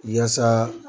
Yaasa